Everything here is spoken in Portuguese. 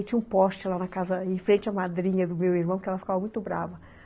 E tinha um poste lá na casa, em frente à madrinha do meu irmão, que ela ficava muito brava.